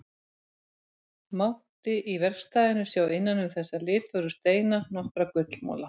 Mátti í verkstæðinu sjá innan um þessa litfögru steina nokkra gullmola.